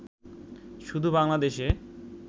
শুধু বাংলাদেশে